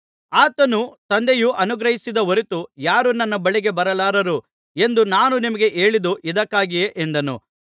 ಆತನು ತಂದೆಯು ಅನುಗ್ರಹಿಸದ ಹೊರತು ಯಾರೂ ನನ್ನ ಬಳಿಗೆ ಬರಲಾರರು ಎಂದು ನಾನು ನಿಮಗೆ ಹೇಳಿದ್ದು ಇದಕ್ಕಾಗಿಯೇ ಎಂದನು